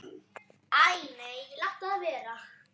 Æ nei, láttu það vera.